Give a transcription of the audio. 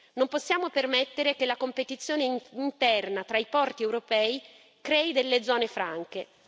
Non possiamo permettere che la competizione interna tra i porti europei crei delle zone franche.